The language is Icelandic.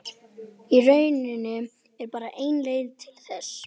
Í rauninni er bara ein leið til þess.